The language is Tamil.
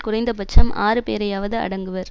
குறைந்த பட்சம் ஆறு பேரையாவது அடங்குவர்